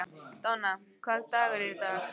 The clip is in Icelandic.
Donna, hvaða dagur er í dag?